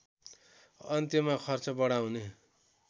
अन्त्यमा खर्च बढाउने